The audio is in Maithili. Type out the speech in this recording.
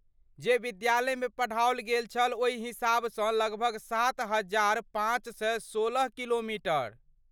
जे विद्यालयमे पढ़ाओल गेल छल ओहि हिसाबसँ लगभग सात हजार पाँच सए सोलह किलोमीटर?